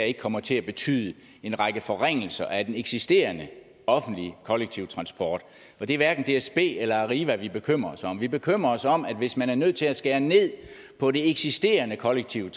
ikke kommer til at betyde en række forringelser af den eksisterende offentlige kollektive transport og det er hverken dsb eller arriva vi bekymrer os om vi bekymrer os om at hvis man er nødt til at skære ned på det eksisterende kollektive